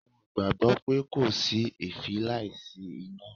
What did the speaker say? Wọ́n gbàgbọ́ pé 'kò sí èéfín láìsí iná'